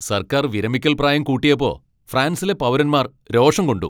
സർക്കാർ വിരമിക്കൽപ്രായം കൂട്ടിയപ്പോ ഫ്രാൻസിലെ പൗരന്മാർ രോഷം കൊണ്ടു.